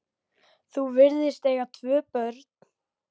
Þau virðast eiga tvö börn.